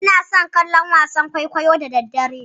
Inason kallon wasan kwaikwayo da daddare.